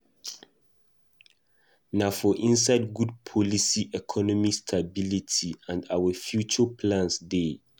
Na for inside good policy economic stability and our future plans dey.